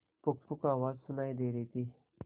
पुकपुक आवाज सुनाई दे रही थी